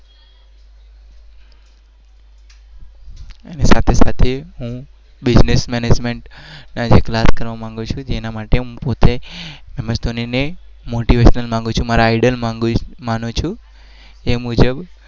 સાથે સાથે